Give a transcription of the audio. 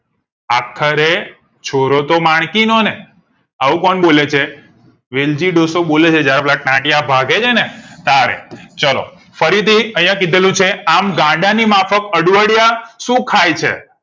આખરે છોરો તો માણકી નો ને આવું કોણ બોલે છે વિલજી ડોસો બોલે છે જયારે પેલા ટાંટિયા ભાંગે છે ને તારે ચલો ફરીથી અહીંયા કીધેલુ છે આમ ગાંડા ની માફક અડવાડિયા શું ખાય છે